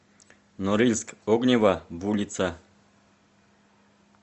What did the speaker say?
норильск огнева в улица